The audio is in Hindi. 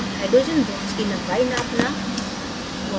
hydrogen bonds की लम्बाई नापना